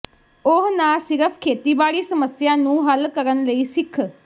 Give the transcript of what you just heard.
ਉਹ ਨਾ ਸਿਰਫ ਖੇਤੀਬਾੜੀ ਸਮੱਸਿਆ ਨੂੰ ਹੱਲ ਕਰਨ ਲਈ ਸਿੱਖ